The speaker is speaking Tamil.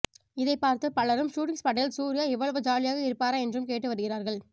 இதை பார்த்து பலரும் ஷூட்டிங் ஸ்பாட்டில் சூர்யா இவ்வளவு ஜாலியாக இருப்பாரா என்றும் கேட்டு வருகிறார்கள்